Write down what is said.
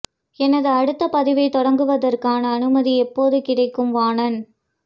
எனது அடுத்த பதிவைத் தொடங்குவதற்கான அனுமதி எப்போது கிடைக்கும் வாணன்